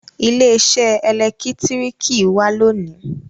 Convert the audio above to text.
ile-iṣẹ elekitiriki wá lóni.